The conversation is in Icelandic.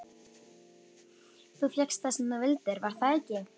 Þú fékkst það sem þú vildir, var það ekki?